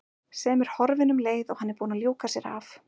Sem er horfin um leið og hann er búinn að ljúka sér af.